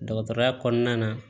Dɔgɔtɔrɔya kɔnɔna na